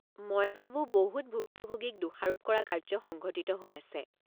মই ভাবো বহুত ভুক্তভোগীক দোষাৰোপ কৰা কাৰ্য্য সংঘটিত হৈ আছে।